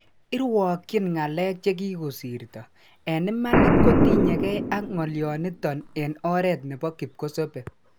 Irwokyin ngalek chekigosirto en imanit kotinyegei ak ngolyoniton en oret nebo kipkosobe.